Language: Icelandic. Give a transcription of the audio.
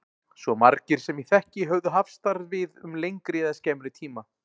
Svo margir sem ég þekkti höfðu hafst við þar um lengri eða skemmri tíma.